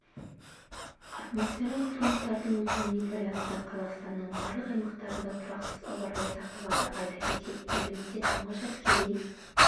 атмосфералық фронттардың өтуіне байланысты қазақстанның барлық аймақтарында тұрақсыз ауа райы сақталады айта кетейік елімізде тұңғыш әскери